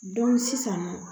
sisan nɔ